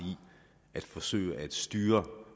at forsøge at styre